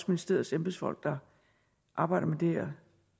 ministeriets embedsfolk der arbejder med det her